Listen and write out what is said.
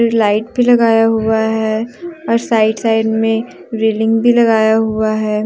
Light भी लगाया हुआ है और साइड साइड में रेलिंग भी लगाया हुआ है।